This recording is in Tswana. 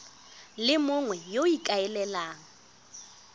le mongwe yo o ikaelelang